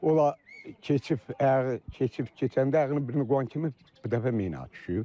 Olar keçib ayağı keçib keçəndə ayağını birini qoyan kimi bir dəfə mina düşüb.